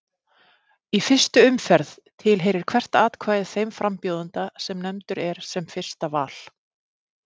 Í fyrstu umferð tilheyrir hvert atkvæði þeim frambjóðanda sem nefndur er sem fyrsta val.